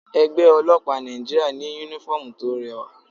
Ẹgbẹ́ ọlọ́pàá Nàìjíríà ní uniform tó rẹwà.